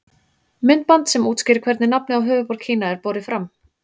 Myndband sem útskýrir hvernig nafnið á höfuðborg Kína er borið fram.